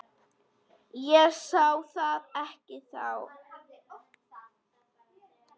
Ég sá það ekki þá.